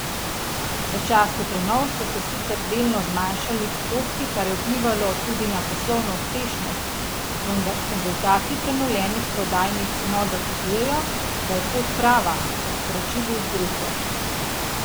V času prenov so se sicer delno zmanjšali prihodki, kar je vplivalo tudi na poslovno uspešnost, vendar rezultati prenovljenih prodajnih enot dokazujejo, da je pot prava, so sporočili iz družbe.